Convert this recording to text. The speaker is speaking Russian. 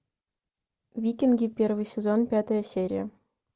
викинги первый сезон пятая серия